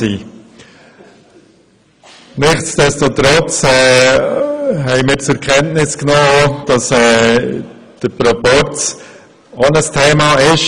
Nichtsdestotrotz haben wir zur Kenntnis genommen, dass der Proporz auch ein Thema ist.